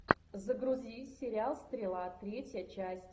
загрузи сериал стрела третья часть